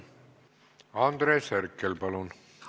Andres Herkel, palun!